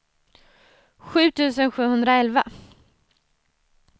sju tusen sjuhundraelva